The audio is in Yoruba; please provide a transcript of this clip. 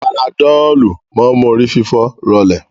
Panadọ́lù máa ń mú orí fífọ́ rọlẹ̀